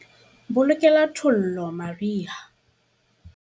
Bolokela thollo mariha.